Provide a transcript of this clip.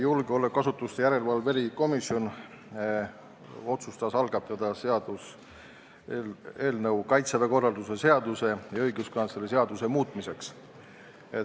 Julgeolekuasutuste järelevalve erikomisjon otsustas algatada seaduseelnõu Kaitseväe korralduse seaduse ja õiguskantsleri seaduse muutmiseks.